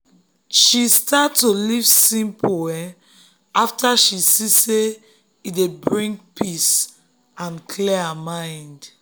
she um start um to live simple after she see say e dey bring peace um and clear her mind.